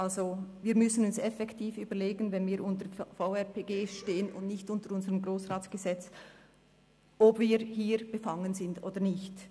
Also müssen wir uns effektiv überlegen, wenn wir dem VRPG unterstehen und nicht unserem Gesetz über den Grossen Rat (Grossratsgesetz, GRG), ob wir hier befangen sind oder nicht.